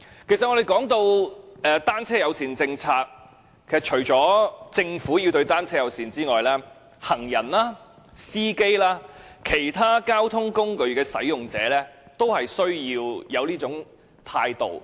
其實，我們談到單車友善政策，除了政府要對單車友善之外，行人、司機及其他交通工具使用者，亦需要有這種態度。